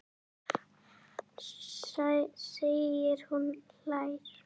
segir hún og hlær.